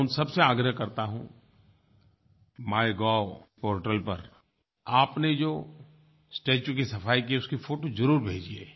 मैं उन सबसे आग्रह करता हूँ माइगोव पोर्टल पर आपने जो स्टेच्यू की सफ़ाई की है उसकी फोटो ज़रूर भेजिए